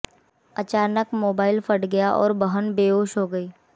अचानक मोबाइल फट गया और बहन बेहोश हो गई